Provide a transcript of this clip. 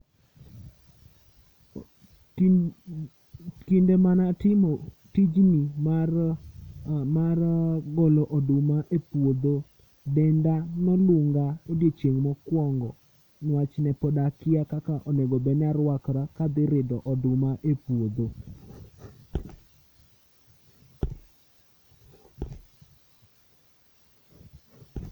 Kinde mane atimo tijni mar golo oduma e puodho, denda nolunga odiochieng' mokuongo nikech pod ne akia kaka arwakra ka adhi ridho oduma e puodho